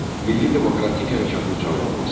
Milli demokratik hərəkatın canlanması.